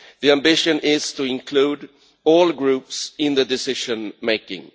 The ambition is to include all groups in the decision making.